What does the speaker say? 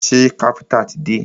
Ṣé káfíńńtà ti dé?